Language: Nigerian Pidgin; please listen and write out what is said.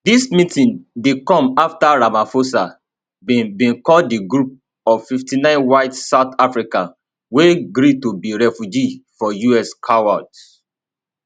dis meeting dey come afta ramaphosa bin bin call di group of 59 white south africans wey gree to be refugees for us cowards